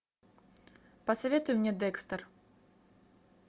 посоветуй мне декстер